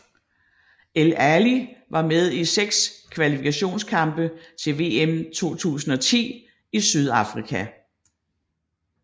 El Ali var med i seks kvalifikationskampe til VM 2010 i Sydafrika